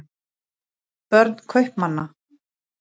börn kaupmanna